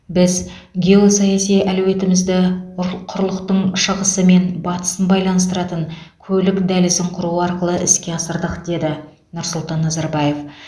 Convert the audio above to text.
біз геосаяси әлеуетімізді ұрлы құрлықтың шығысы мен батысын байланыстыратын көлік дәлізін құру арқылы іске асырдық деді нұрсұлтан назарбаев